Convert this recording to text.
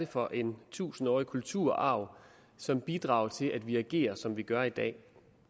for en tusindårig kulturarv som bidrager til at vi agerer som vi gør i dag